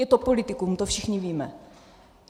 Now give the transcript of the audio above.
Je to politikum, to všichni víme.